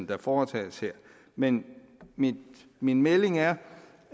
der foretages her men min min melding er